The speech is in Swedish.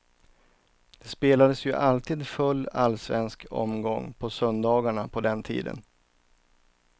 Det spelades ju alltid full allsvensk omgång på söndagarna på den tiden.